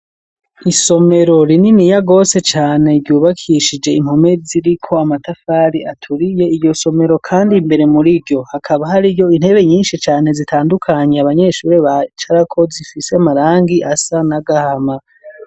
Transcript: Isomero rininiya gwose cane ryubakishije impome ziriko amatafari aturiye iyo somero kandi mbere muriryo hakaba hari yo intebe nyinshi cane zitandukanye abanyeshure bicarako zifise marangi asa n'agahama.